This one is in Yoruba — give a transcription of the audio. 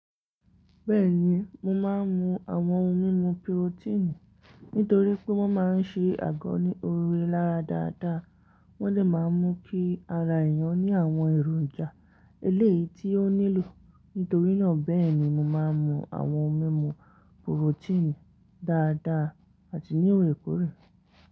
Bẹ́ẹ̀ni, mo máa ń mu àwọn ohun mímu pirotíìnì nítorí pé wọ́n máa ń ṣe àgọ́ ní ore lára dáadáa. Wọ́n dẹ máa mú kí ara èèyàn ní àwọn èròjà eléyìí tí ọ nílò, nítorí náà bẹ́ẹ̀ ni mo máa ń mu àwọn ohun mímu pirotíìnì dáadáa àti ní òrèkóòrè.